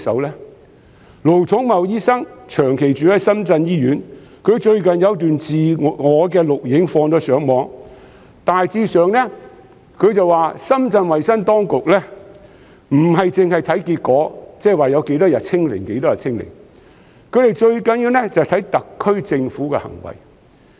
盧寵茂醫生長駐深圳醫院，他最近有段自拍錄影上傳互聯網，大致上表示深圳衞生當局不單是看結果，即有多少天"清零"，最重要的是看特區政府的行為。